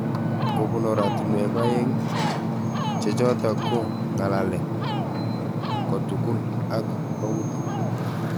Kobun oratunwek ae'ng chechotok ko ng'alalet kotugul ak autik.